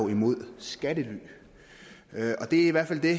imod skattely det er i hvert fald det